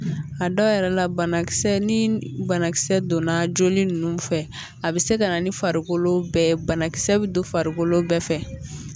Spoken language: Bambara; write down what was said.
A dɔw yɛrɛ la bana kisɛ ni banakisɛ donna joli nunnu fɛ a bi se ka na ni farikolo bɛɛ ye banakisɛ bɛ don farikolo bɛɛ fɛ